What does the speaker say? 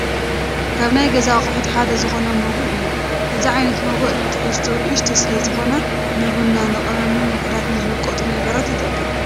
ካብ ናይ ገዛ ኣቑሑት ሓደ ዝኾነ መጉእ እዩ፡፡ እዚ ዓይነት መጉእ ንትሕዝትኡ ንእሽተይ ስለዝኾነ ንቡና፣ ንቐመምን ውሑዳት ዝውቐጡ ነገራትን ይጠቅም፡፡